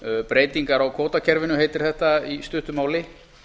breytingar á kvótakerfinu heitir þetta í stuttu máli